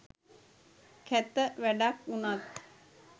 කැත වැඩක් උනත්